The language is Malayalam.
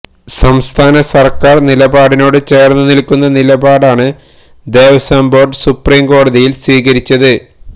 സംസ്ഥാന സര്ക്കാര് നിലപാടിനോട് ചേര്ന്ന് നില്ക്കുന്ന നിലപാടാണ് ദേവസ്വം ബോര്ഡ് സുപ്രീം കോടതിയില് സ്വീകരിച്ചത്